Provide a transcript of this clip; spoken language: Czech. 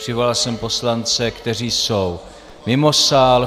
Přivolal jsem poslance, kteří jsou mimo sál.